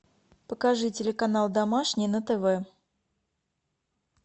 покажи телеканал домашний на тв